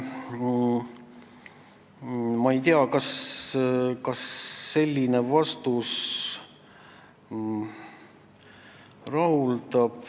Ma ei tea, kas selline vastus teid rahuldab.